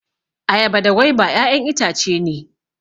Ayaba da gwaiba ƴaƴan itace ne